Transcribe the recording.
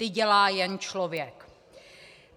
Ty dělá jenom člověk."